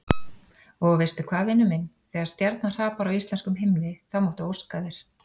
Og veistu hvað, vinur minn, þegar stjarna hrapar á íslenskum himni þá máttu óska þér.